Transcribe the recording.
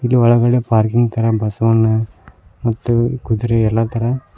ಇದರೊಳಗಡೆ ಪಾರ್ಕಿಂಗ್ ತರ ಬಸವಣ್ಣ ಮತ್ತು ಕುದುರೆ ಎಲ್ಲಾ ತರ--